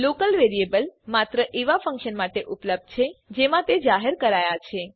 local variable માત્ર એવાં function માટે ઉપલબ્ધ છે જેમાં તે જાહેર કરાયા છે